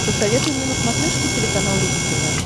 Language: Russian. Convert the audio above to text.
посоветуй мне на смотрешке телеканал рубль тв